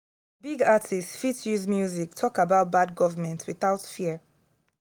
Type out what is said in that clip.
big artists fit use music talk against bad government without fear.